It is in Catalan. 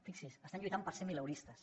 fixi’s estan lluitant per ser mileuristes